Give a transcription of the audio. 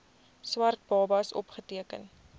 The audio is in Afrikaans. swart babas opgeteken